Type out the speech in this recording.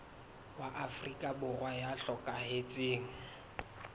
wa afrika borwa ya hlokahetseng